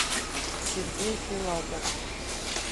сергей филатов